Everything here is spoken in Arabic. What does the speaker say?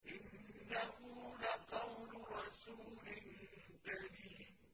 إِنَّهُ لَقَوْلُ رَسُولٍ كَرِيمٍ